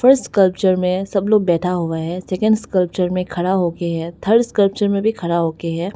First sculpture में सब लोग बैठा हुआ है सेकंड स्कल्पचर में खड़ा हो के है थर्ड स्कल्पचर में भी खड़ा हो के है।